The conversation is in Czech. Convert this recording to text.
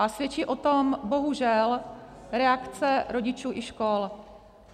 A svědčí o tom bohužel reakce rodičů i škol.